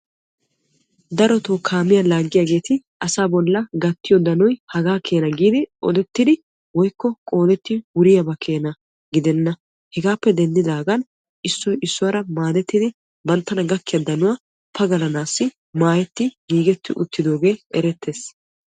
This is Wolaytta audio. Darotto kaamiya laagiyagettia asaa bolla gattiyo danoy hagaa keena giidi odettiddi woykko qoodettiddi wuriyaaba keena gidenna hegaappe denddidagan issoy issuwara maadettiddi banttana gakiya danuwa pagalanaassi maayetti giigetti uttidooge erettes.